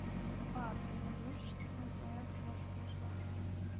ипат мне тоже четырнадцать но я в девятый перешла